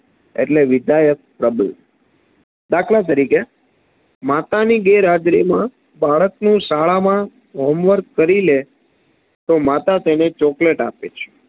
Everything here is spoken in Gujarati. એટલે વિધાયક પ્રબલન દાખલા તરીકે માતાની ગેરહાજરીમાં બાળક શાળાનું homework કરી લે તો માતા તેને chocolate આપે છે